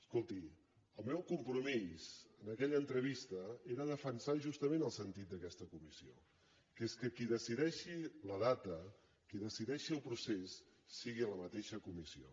escolti el meu compromís en aquella entrevista era defensar justament el sen·tit d’aquesta comissió que és que qui decideixi la da·ta qui decideixi el procés sigui la mateixa comissió